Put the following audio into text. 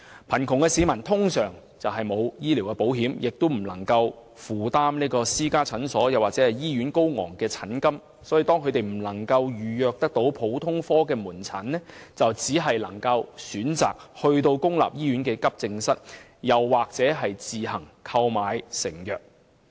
貧窮的市民通常沒有購買醫療保險，因此難以負擔私家診所或醫院的高昂診金，當他們未能預約政府普通科門診服務時，便只能選擇前往公立醫院急症室求診或自行購買成藥。